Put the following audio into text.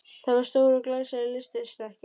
Það var stór og glæsileg lystisnekkja.